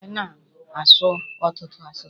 A na m asụ ọtụtụ asụsụ.